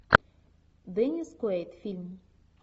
деннис куэйд фильм